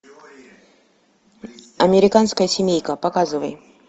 американская семейка показывай